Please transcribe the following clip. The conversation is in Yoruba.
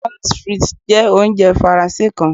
moules frites jẹ ounjẹ Faranse kan